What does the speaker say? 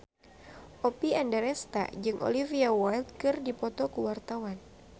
Oppie Andaresta jeung Olivia Wilde keur dipoto ku wartawan